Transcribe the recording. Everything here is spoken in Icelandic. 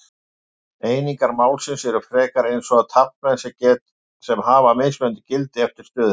Einingar málsins eru frekar eins og taflmenn sem hafa mismunandi gildi eftir stöðunni.